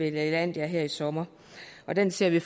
i lalandia her i sommer og den ser vi